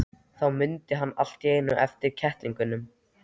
Þá mundi hann allt í einu eftir kettlingunum.